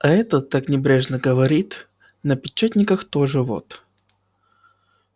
а этот так небрежно говорит на печатниках тоже вот